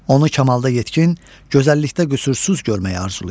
Onu kamalda yetkin, gözəllikdə qüsursuz görməyi arzulayır.